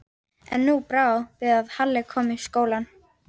En nú brá svo við að Halli kom í skólann.